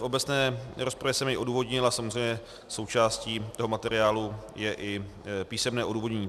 V obecné rozpravě jsem jej odůvodnil a samozřejmě součástí toho materiálu je i písemné odůvodnění.